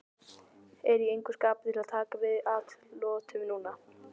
Er í engu skapi til að taka við atlotum núna.